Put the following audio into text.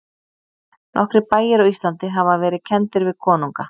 Nokkrir bæir á Íslandi hafa verið kenndir við konunga.